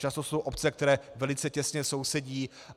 Často jsou obce, které velice těsně sousedí.